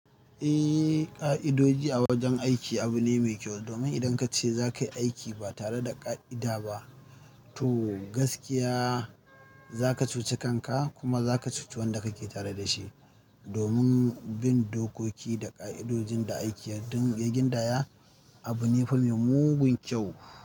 Eh, ƙa'idoji a wajen aiki abu ne mai kyau, domin idan ka ce za ka yi aiki ba tare da ƙa'ida ba, to gaskiya za ka cuci kanka kuma za ka cuci wanda kake tare da shi. Domin bin dokoki da ƙa'idojin da aiki don ya gindaya abu ne fa mai mugun kyau.